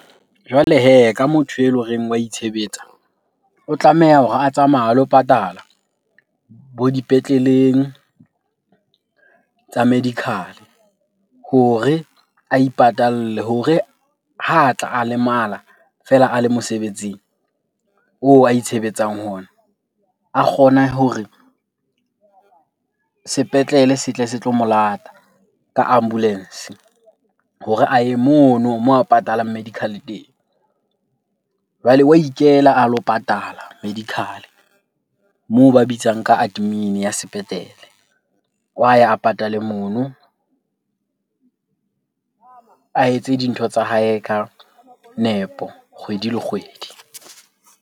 Jwale hee ka motho ele horeng wa itshebetsa. O tlameha hore a tsamaye a lo patala bo dipetleleng tsa medical-e hore a ipatalle. Hore ha a tla a lemala fela a le mosebetsing oo a itshebetsang ho ona, a kgone hore sepetlele se tle se tlo mo lata ka ambulance hore a ye mono moo a patalang medical-e teng. Jwale wa ikela a lo patala medical-e moo ba bitsang ka admin-e ya sepetlele. Wa ya a patale mono, a etse dintho tsa hae ka nepo kgwedi le kgwedi.